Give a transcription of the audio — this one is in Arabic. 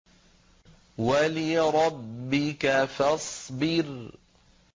وَلِرَبِّكَ فَاصْبِرْ